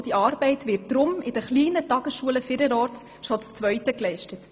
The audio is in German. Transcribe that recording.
Deshalb wird diese Arbeit in den kleinen Tagesschulen bereits vielerorts zu zweit geleistet.